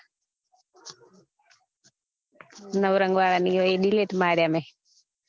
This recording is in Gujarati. નવરંગ વાળા ને એ તો delete માર્યા મેં